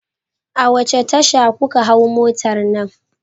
A wace tasha kuka hau motar nan?